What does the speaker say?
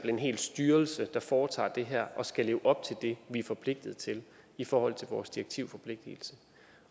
en hel styrelse der foretager det her og skal leve op til det vi er forpligtet til i forhold til vores direktivforpligtigelse